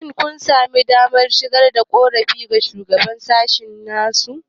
Shin kun sami damar shigar da korafinku ga Shugaban sashen?